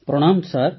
ପ୍ରଣାମ ସାର୍